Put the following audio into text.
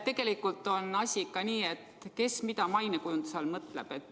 Tegelikult on asi ikka nii, et kes mida mainekujunduse all mõtleb.